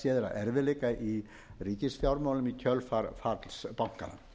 erfiðleika í ríkisfjármálum í kjölfar falls bankanna